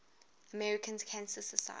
american cancer society